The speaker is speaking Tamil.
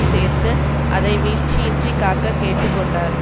சேர்த்து அதை வீழ்ச்சியின்று காக்க கேட்டுக்கொன்டார்